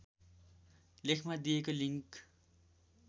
लेखमा दिएको लिङ्क